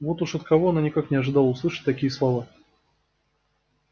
вот уж от кого она никак не ожидала услышать такие слова